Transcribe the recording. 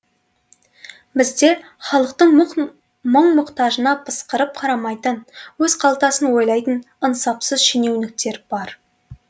бізде халықтың мұң мұқтажына пысқырып қарамайтын өз қалтасын ойлайтын ынсапсыз шенеуніктер бар